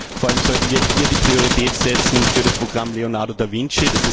Vor allem sollten wir hier die Priorität setzen für das Programm Leonardo da Vinci.